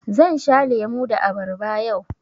Zan sha lemu da abarba yau.